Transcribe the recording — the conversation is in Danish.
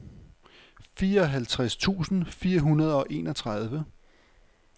fireoghalvtreds tusind fire hundrede og enogtredive